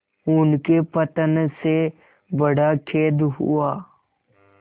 उनके पतन से बड़ा खेद हुआ